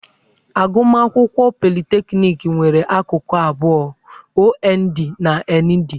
Agụmakwụkwọ politekniki nwere akụkụ abụọ - OND na ND.